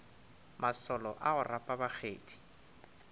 masolo a go rapa bakgethi